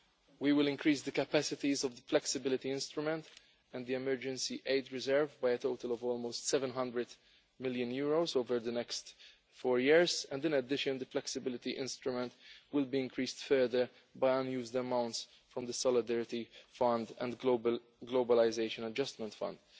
We will increase the capacities of the flexibility instrument and the emergency aid reserve by a total of almost EUR 700 million over the next four years, and in addition the flexibility instrument will be increased further by unused amounts from the Solidarity Fund and Globalisation Adjustment Fund.